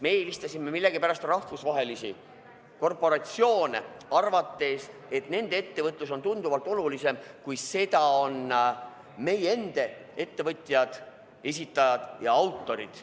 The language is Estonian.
Me eelistasime millegipärast rahvusvahelisi korporatsioone, arvates, et nende ettevõtlus on tunduvalt olulisem, kui seda on meie endi ettevõtjad, esitajad ja autorid.